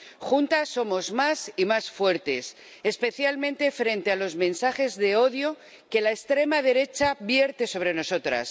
Juntas somos más y más fuertes, especialmente frente a los mensajes de odio que la extrema derecha vierte sobre nosotras.